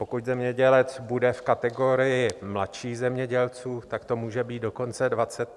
Pokud zemědělec bude v kategorii mladších zemědělců, tak to může být dokonce 25 000 korun na hektar.